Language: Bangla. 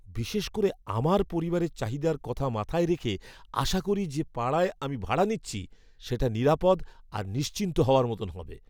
বিশেষ করে আমার পরিবারের চাহিদার কথা মাথায় রেখে আশা করি, যে পাড়ায় আমি ভাড়া নিচ্ছি সেটা নিরাপদ আর নিশ্চিন্ত হওয়ার মতন হবে।